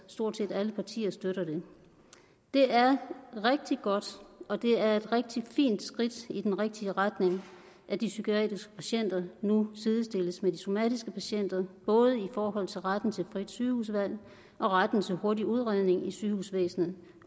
stort set alle partier støtter det det er rigtig godt og det er et rigtig fint skridt i den rigtige retning at de psykiatriske patienter nu sidestilles med de somatiske patienter både i forhold til retten til frit sygehusvalg og retten til hurtig udredning i sygehusvæsenet